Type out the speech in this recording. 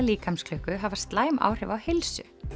líkamsklukku hafa slæm áhrif á heilsu